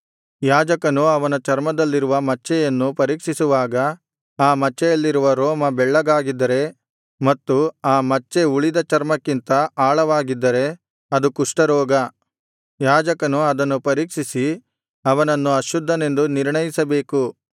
ಯಾಜಕನು ಅವನ ಚರ್ಮದಲ್ಲಿರುವ ಮಚ್ಚೆಯನ್ನು ಪರೀಕ್ಷಿಸುವಾಗ ಆ ಮಚ್ಚೆಯಲ್ಲಿರುವ ರೋಮ ಬೆಳ್ಳಗಾಗಿದ್ದರೆ ಮತ್ತು ಆ ಮಚ್ಚೆ ಉಳಿದ ಚರ್ಮಕ್ಕಿಂತ ಆಳವಾಗಿದ್ದರೆ ಅದು ಕುಷ್ಠರೋಗ ಯಾಜಕನು ಅದನ್ನು ಪರೀಕ್ಷಿಸಿ ಅವನನ್ನು ಅಶುದ್ಧನೆಂದು ನಿರ್ಣಯಿಸಬೇಕು